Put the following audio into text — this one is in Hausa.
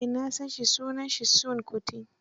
Eh na san shi, sunansa Seun Kuti.